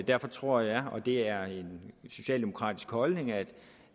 derfor tror jeg og det er en socialdemokratisk holdning at